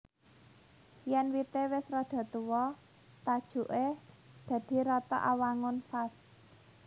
Yèn wité wis rada tuwa tajuké dadi rata awangun vas